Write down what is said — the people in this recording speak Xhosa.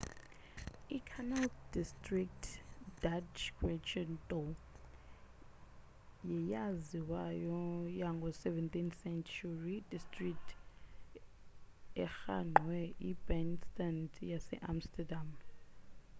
i-canal district dutch: grachtengordel yeyaziwayo yango 17th-century district erhangqwe i-binnenstad yase-amsterdam